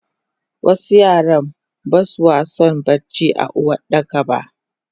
wasu Yara baswason barci a Uwardakaba